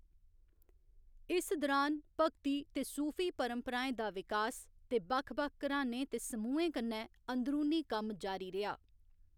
इस दुरान, भगती ते सूफी परंपराएं दा विकास ते बक्ख बक्ख घरानें ते समूहें कन्नै अंदरूनी कम्म जारी रेहा।